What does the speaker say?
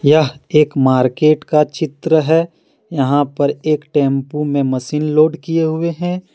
यह एक मार्केट का चित्र है यहां पर एक टेंपू में मशीन लोड किए हुए हैं।